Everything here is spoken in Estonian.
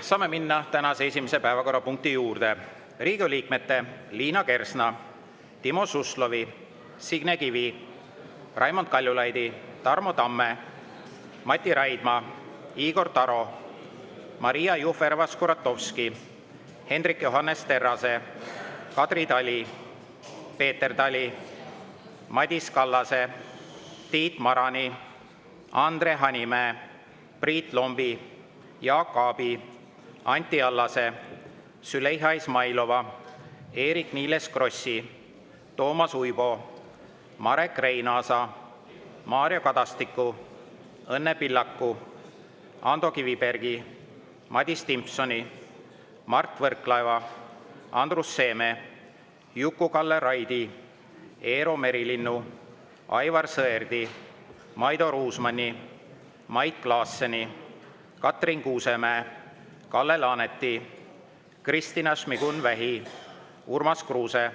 Saame minna tänase esimese päevakorrapunkti juurde: Riigikogu liikmete Liina Kersna, Timo Suslovi, Signe Kivi, Raimond Kaljulaidi, Tarmo Tamme, Mati Raidma, Igor Taro, Maria Jufereva-Skuratovski, Hendrik Johannes Terrase, Kadri Tali, Peeter Tali, Madis Kallase, Tiit Marani, Andre Hanimäe, Priit Lombi, Jaak Aabi, Anti Allase, Züleyxa Izmailova, Eerik-Niiles Krossi, Toomas Uibo, Marek Reinaasa, Mario Kadastiku, Õnne Pillaku, Ando Kivibergi, Madis Timpsoni, Mart Võrklaeva, Andrus Seeme, Juku-Kalle Raidi, Eero Merilinnu, Aivar Sõerdi, Maido Ruusmanni, Mait Klaasseni, Katrin Kuusemäe, Kalle Laaneti, Kristina Šmigun-Vähi, Urmas Kruuse,